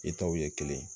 I taw ye kelen ye